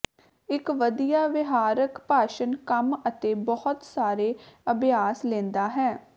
ਇੱਕ ਵਧੀਆ ਵਿਹਾਰਕ ਭਾਸ਼ਣ ਕੰਮ ਅਤੇ ਬਹੁਤ ਸਾਰੇ ਅਭਿਆਸ ਲੈਂਦਾ ਹੈ